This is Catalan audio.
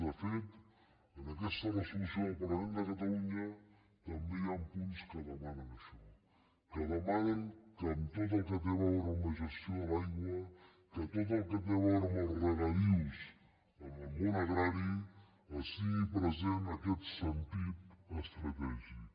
de fet en aquesta resolució del parlament de catalunya també hi han punts que demanen això que demanen que en tot el que té a veure amb la gestió de l’aigua que tot el que té a veure amb els regadius en el món agrari es tingui present aquest sentit estratègic